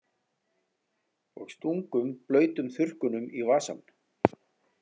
Og stungum blautum þurrkunum í vasann.